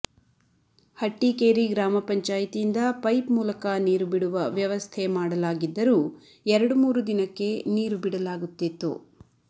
ಹಟ್ಟಿಕೇರಿ ಗ್ರಾಮ ಪಂಚಾಯಿತಿಯಿಂದ ಪೈಪ್ ಮೂಲಕ ನೀರು ಬಿಡುವ ವ್ಯವಸ್ಥೆ ಮಾಡಲಾಗಿದ್ದರೂ ಎರಡು ಮೂರು ದಿನಕ್ಕೆ ನೀರು ಬಿಡಲಾಗುತ್ತಿತ್ತು